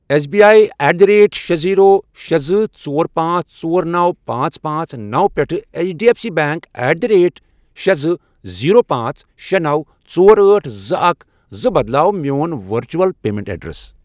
S B I at the rate شے، zero, شے، زٕ، ژۄر، پانژھ، ژۄر، نوَ، پانژھ، پانژھ، نوَ، پٮ۪ٹھٕ H D F C bank at the rate شے، زٕ، زیرو، پانژھ، شے، نوَ، ژور، أٹھ، زٕ، اکھَ، زٕ، بدلاو میون ورچول پیمنٹ ایڈریس۔